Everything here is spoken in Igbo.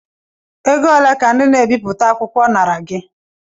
Ego ole ka ndị na-ebipụta akwụkwọ nara gị?